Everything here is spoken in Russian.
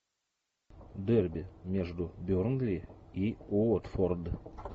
дерби между бернли и уотфорд